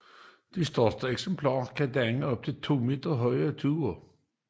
De største eksemplarer kan danne op til 2 m høje tuer